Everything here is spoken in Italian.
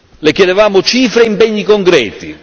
Le chiedevamo cifre e impegni concreti.